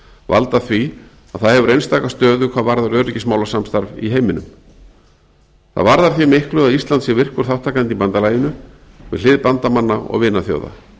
valda því að það hefur einstaka stöðu hvað varðar öryggismálasamstarf í heiminum það varðar því miklu að ísland sé virkur þátttakandi í bandalaginu við hlið bandamanna og vinaþjóða